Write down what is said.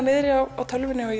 niðri á tölvunni og